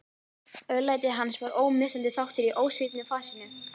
Örlæti hans var ómissandi þáttur í ósvífnu fasinu.